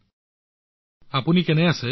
মনজুৰ জী আপুনি কেনে আছে